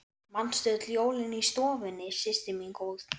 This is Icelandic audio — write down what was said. Manstu öll jólin í stofunni systir mín góð.